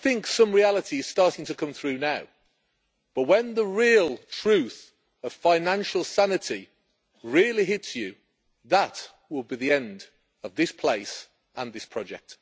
Some reality is starting to come through now, but when the real truth of financial sanity really hits you, that will be the end of this place and this project.